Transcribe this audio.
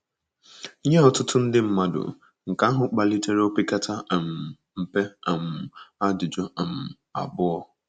Nye ọtụtụ ndị mmadụ, nke ahụ kpalitere opekata um mpe um ajụjụ um abụọ.